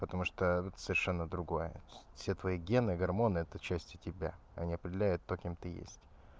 потому что тут совершенно другое все твои гены гормоны это части тебя они определяют то кем ты есть